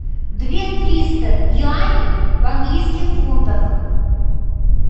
две триста юаней в английских фунтах